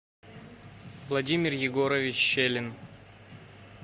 владимир егорович щелин